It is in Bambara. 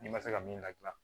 N'i ma se ka min ladilan